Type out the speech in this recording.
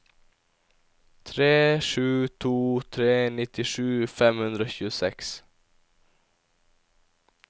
tre sju to tre nittisju fem hundre og tjueseks